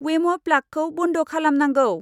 वेम' प्लागखौ बन्द खालामनांगौ।